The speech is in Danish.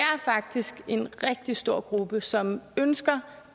faktisk en rigtig stor gruppe som ønsker